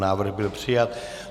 Návrh byl přijat.